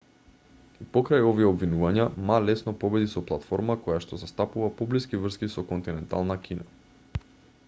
и покрај овие обвинувања ма лесно победи со платформа којашто застапува поблиски врски со континентална кина